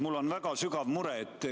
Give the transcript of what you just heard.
Mul on väga sügav mure.